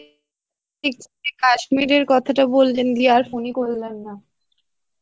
কাশ্মীরের কথাটা বললেন দিয়ে আর ফোন ই করলেন না